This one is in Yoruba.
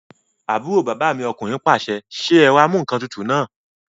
Àbúrò bàbá mi ọkùnrin pàṣẹ, "ṣe ẹ̀rọamúǹkantutù náà!"